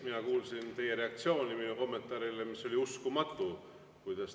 Mina kuulsin teie reaktsiooni minu kommentaarile, mis oli "Uskumatu!".